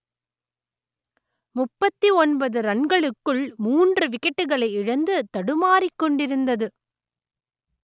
முப்பத்தி ஒன்பது ரன்களுக்குள் மூன்று விக்கெட்டுகளை இழந்து தடுமாறிக் கொண்டிருந்தது